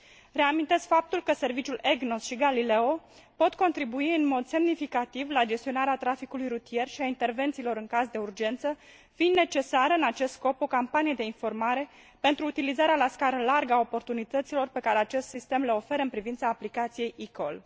Reamintesc faptul că serviciul EGNOS și Galileo pot contribui în mod semnificativ la gestionarea traficului rutier și a intervențiilor în caz de urgență, fiind necesară în acest scop o campanie de informare pentru utilizarea la scară largă a oportunităților pe care acest sistem le oferă în privința aplicației eCall.